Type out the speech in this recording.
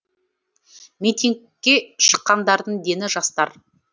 митингке шыққандардың дені жастар